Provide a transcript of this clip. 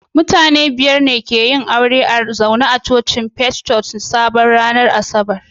Mutane biyar ne ke yin aure a zaune a cocin Faith Church Sabo ranar Asabar